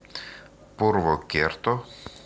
пурвокерто